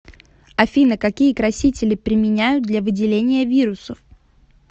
афина какие красители применяют для выделения вирусов